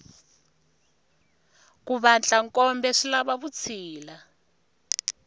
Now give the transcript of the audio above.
ku vatla nkombe swilava vutshila